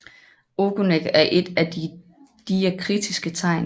Ogonek er et af de diakritiske tegn